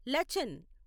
Lachen